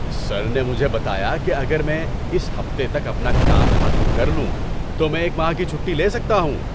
سر نے مجھے بتایا کہ اگر میں اس ہفتے تک اپنا کام ختم کر لوں تو میں ایک ماہ کی چھٹی لے سکتا ہوں!